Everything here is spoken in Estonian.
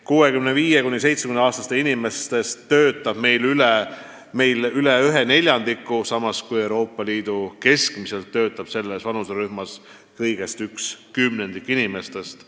65–74-aastastest inimestest töötab meil veidi üle neljandiku, samas kui Euroopa Liidus keskmiselt töötab selles vanuserühmas kõigest üks kümnendik inimestest.